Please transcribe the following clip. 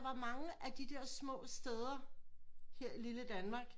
Var mange af de der små steder her i lille Danmark